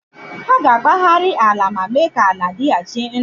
Ha ga-agbagharị ala ma mee ka ala dịghachi ndụ.